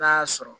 N'a y'a sɔrɔ